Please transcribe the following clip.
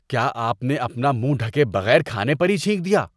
کیا آپ نے اپنا منہ ڈھکے بغیر کھانے پر ہی چھینک دیا؟